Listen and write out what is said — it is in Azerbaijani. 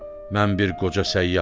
Mən bir qoca səyyaham.